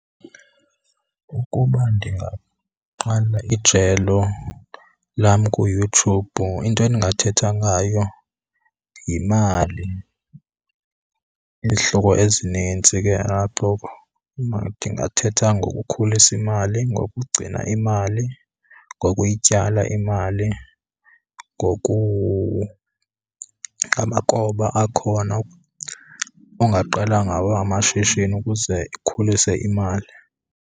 Ukuba ndingaqala ijelo lam kuYouTube into endingathetha ngayo yimali. Izihloko ezinintsi ke apho, ndingathetha ngokukhulisa imali, ngokugcina imali, ngokuyityala imali, amakroba akhona ongaqala ngawo amashishini ukuze ikhulise imali.